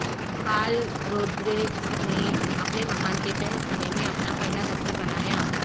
Karl Rodriguez نے اپنے مکان کے تہہ خانے میں اپنا پہلا دفتر بنایا